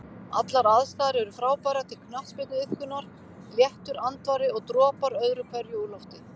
Allar aðstæður er frábærar til knattspyrnuiðkunar, léttur andvari og dropar öðru hverju úr lofti.